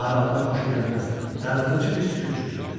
Aralığa xoşagəlməz, darıxdırıcı bir sükut çökürdü.